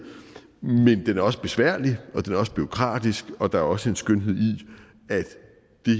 men den er også besværlig og den er også bureaukratisk og der er også en skønhed